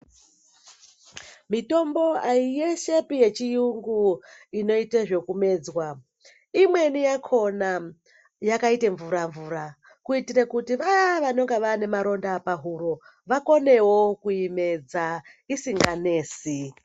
Mitombo yeshepi yechiyungu inoite zvekumedzwa imweni yakona yakaite mvura mvura kuitire kuti vaya vanonga vane maronda pahuro vakonewo kuimedza isinganesi.